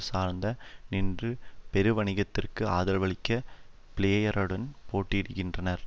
சார்ந்தே நின்று பெருவணிகத்திற்கு ஆதரவளிக்க பிளேயருடன் போட்டியிடுகின்றனர்